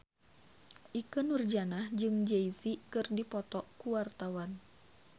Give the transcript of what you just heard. Ikke Nurjanah jeung Jay Z keur dipoto ku wartawan